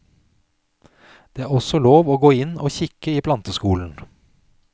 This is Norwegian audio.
Det er også lov å gå inn og kikke i planteskolen.